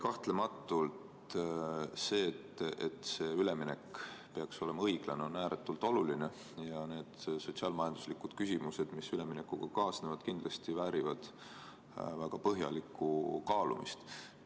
Kahtlematult on see, et see üleminek on õiglane, ääretult oluline ja need sotsiaal-majanduslikud küsimused, mis üleminekuga kaasnevad, kindlasti väärivad väga põhjalikku kaalumist.